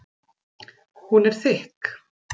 Hún er þykk.